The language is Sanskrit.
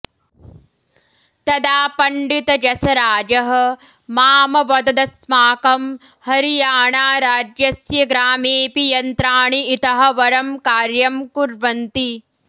तदा पण्डितजसराजः मामवददस्माकं हरियाणाराज्यस्य ग्रामेऽपि यन्त्राणि इतः वरं कार्यं कुर्वन्ति